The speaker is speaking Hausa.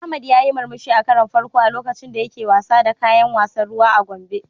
Ahmad yayi murmushi a karon farko a lokacin da yake wasa da kayan wasan ruwa a Gombe.